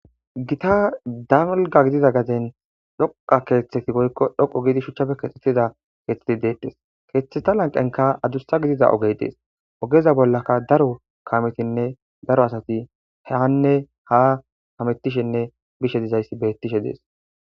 gita damulga gidida gaten dhoqa keeththeti goykko dhoqo giidi shuchchafe keexxetida keeththeti deettes keethetheta lanqenka adussa gidida oge dees ogeza bollaka daro kametinne daro asati heanne ha hamettishenne bishe dizayssi bettishe dees